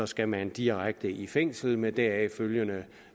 skal man direkte i fængsel med deraf følgende